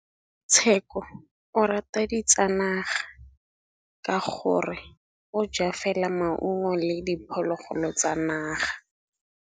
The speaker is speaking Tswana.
Tshekô o rata ditsanaga ka gore o ja fela maungo le diphologolo tsa naga.